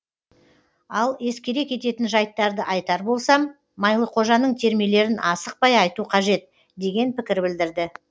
ал ескере кететін жайттарды айтар болсам майлықожаның термелерін асықпай айту қажет деген пікір білдірді